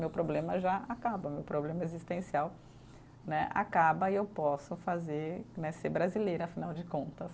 Meu problema já acaba, meu problema existencial né acaba e eu posso fazer né, ser brasileira, afinal de contas.